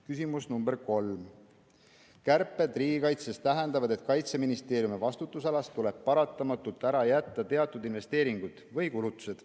Küsimus nr 3: "Kärped riigikaitses tähendavad, et Kaitseministeeriumi vastutusalas tuleb paratamatult ära jätta teatud investeeringud või kulutused.